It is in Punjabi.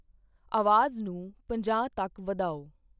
ਆਵਾਜ਼ ਨੂੰ ਪੰਜਾਹ ਤੱਕ ਵਧਾਓ।